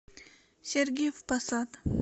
сергиев посад